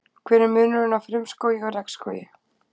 hver er munurinn á frumskógi og regnskógi